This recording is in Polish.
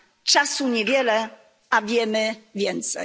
Czasu niewiele, a wiemy więcej.